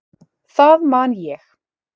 Það man ég.